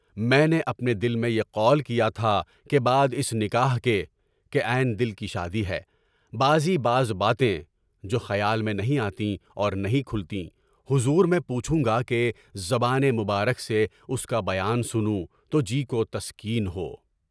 میں نے اپنے دل میں یہ قول کیا تھا کہ بعد اس نکاح کے (کہ عین دل کی شادی ہے) بعض باتیں (جو خیال میں نہیں آتیں اور نہیں کھلتی) حضور میں پوچھوں گا کہ زبان مبارک سے اُس کا بیان سنوں، تو جی کو تسکین ہو۔